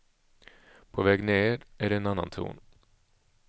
På väg ned är det en annan ton.